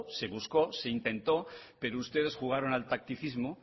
se buscó se intentó pero ustedes jugaron al tacticismo